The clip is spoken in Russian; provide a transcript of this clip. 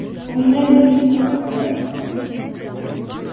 у меня есть что показать